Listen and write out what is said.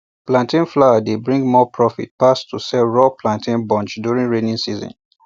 plantain flour dey bring more profit pass to sell raw plantain bunch during rainy season